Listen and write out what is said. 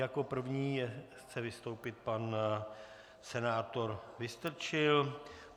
Jako první chce vystoupit pan senátor Vystrčil.